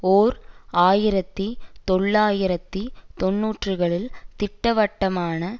ஓர் ஆயிரத்தி தொள்ளாயிரத்து தொன்னூறுகளில் திட்டவட்டமான